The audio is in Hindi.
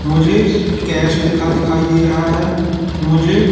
मुझे कैश लिखा दिखाई दे रहा है मुझे--